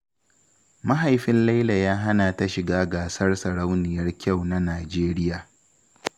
Mahaifin Laila ya hana ta shiga gasar sarauniyar kyau ta Nijeriya.